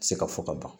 Se ka fɔ ka ban